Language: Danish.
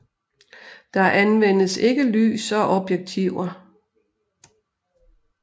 Der anvendes ikke lys og objektiver